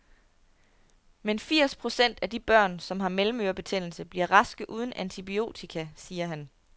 Men firs procent af de børn, som har mellemørebetændelse, bliver raske uden antibiotika, siger han.